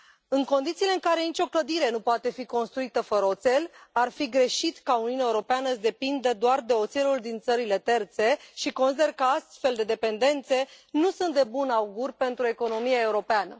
În condițiile în care nicio clădire nu poate fi construită fără oțel, ar fi greșit ca Uniunea Europeană să depindă doar de oțelul din țările terțe și consider că astfel de dependențe nu sunt de bun augur pentru economia europeană.